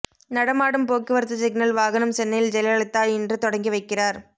நடமாடும் போக்குவரத்து சிக்னல் வாகனம் சென்னையில் ஜெயலலிதா இன்று தொடங்கி வைக்கிறார்